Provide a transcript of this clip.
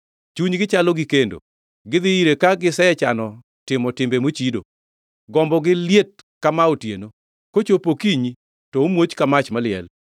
Chunygi chalo gi kendo, gidhi ire ka gisechano timo timbe mochido. Gombogi liet ka maa otieno, kochopo okinyi to omuoch ka mach maliel.